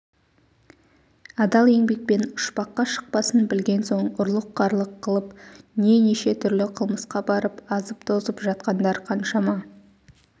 адал еңбекпен ұшпаққа шықпасын білген соң ұрлық-қарлық қылып не неше түрлі қылмысқа барып азып-тозып жатқандар қаншама